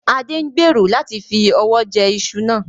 Adé ń gbèrò láti fi ọwọ jẹ ìṣù náà